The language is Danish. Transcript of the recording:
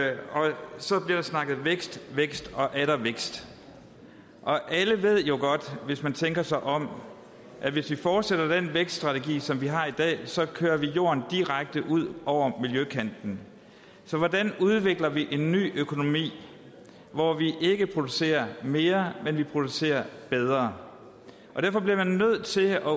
så bliver der snakket vækst vækst og atter vækst og alle ved jo godt hvis man tænker sig om at hvis vi fortsætter den vækststrategi som vi har i dag så kører vi jorden direkte ud over miljøkanten så hvordan udvikler vi en ny økonomi hvor vi ikke producerer mere men producerer bedre der bliver man nødt til